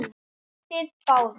SKÚLI: Þið báðir?